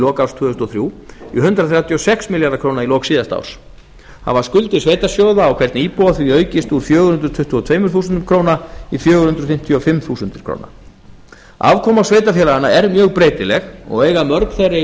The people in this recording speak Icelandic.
lok árs tvö þúsund og þrjú í hundrað þrjátíu og sex milljarða króna í lok síðasta árs hafa skuldir sveitarsjóða á hvern íbúa því aukist úr fjögur hundruð tuttugu og tvö þúsund krónur í fjögur hundruð fimmtíu og fimm þúsund krónur afkoma sveitarfélaganna er mjög breytileg og eiga mörg þeirra í